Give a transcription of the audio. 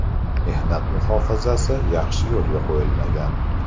Mehnat muhofazasi yaxshi yo‘lga qo‘yilmagan.